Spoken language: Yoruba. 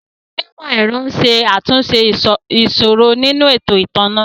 Àwọn onímò ẹ̀rọ ń ṣe àtúnṣe ìṣòro nínú ètò ìtanná